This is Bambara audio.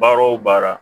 Baara o baara